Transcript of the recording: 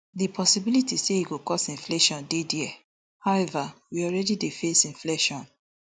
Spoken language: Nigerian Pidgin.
di possibility say e go cause inflation dey dia however we already dey face inflation